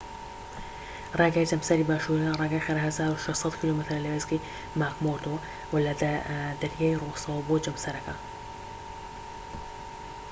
ڕێگای جەمسەری باشوور یان ڕێگای خێرا 1600 کیلۆمەترە لە وێستگەی ماکمۆردۆ وە لە دەریای ڕۆسەوە بۆ جەمسەرەکە